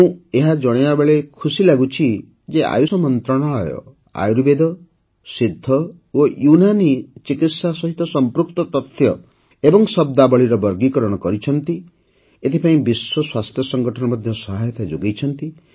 ମୁଁ ଏହା ଜଣାଇବାବେଳେ ଖୁସି ଲାଗୁଛି ଯେ ଆୟୁଷ ମନ୍ତ୍ରଣାଳୟ ଆୟୁର୍ବେଦ ସିଦ୍ଧ ଓ ୟୁନାନୀ ଚିକିତ୍ସା ସହିତ ସଂପୃକ୍ତ ତଥ୍ୟ ଓ ଶବ୍ଦାବଳୀର ବର୍ଗୀକରଣ କରିଛି ଏଥିପାଇଁ ବିଶ୍ୱ ସ୍ୱାସ୍ଥ୍ୟ ସଂଗଠନ ମଧ୍ୟ ସହାୟତା ଯୋଗାଇଛି